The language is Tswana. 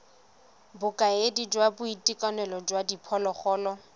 bokaedi jwa boitekanelo jwa diphologolo